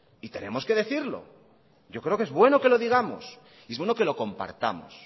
y tenemos que decirlo yo creo que es bueno que lo digamos y es bueno que lo compartamos